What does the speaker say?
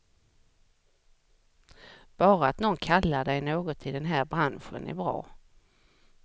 Bara att någon kallar dig något i den här branschen är bra.